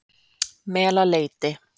Melaleiti